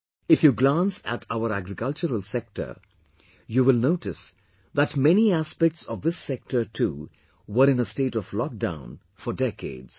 If you glance at our agricultural sector, you will notice that many aspects of this sector too were in a state of lockdown for decades